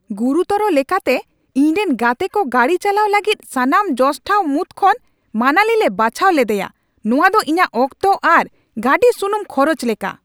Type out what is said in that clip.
ᱜᱩᱨᱩᱛᱚᱨ ᱞᱮᱠᱟᱛᱮ, ᱤᱧ ᱨᱮᱱ ᱜᱟᱛᱮᱠᱚ ᱜᱟᱹᱰᱤ ᱪᱟᱞᱟᱣ ᱞᱟᱹᱜᱤᱫ ᱥᱟᱱᱟᱢ ᱡᱚᱥ ᱴᱷᱟᱶ ᱢᱩᱫᱽ ᱠᱷᱚᱱ ᱢᱟᱱᱟᱞᱤᱞᱮ ᱵᱟᱪᱷᱟᱣ ᱞᱮᱫᱮᱭᱟ? ᱱᱚᱶᱟ ᱫᱚ ᱤᱧᱟᱹᱜ ᱚᱠᱛᱚ ᱟᱨ ᱜᱟᱹᱰᱤ ᱥᱩᱱᱩᱢ ᱠᱷᱚᱨᱚᱪ ᱞᱮᱠᱟ ᱾